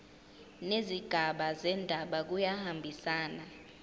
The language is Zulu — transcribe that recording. nezigaba zendaba kuyahambisana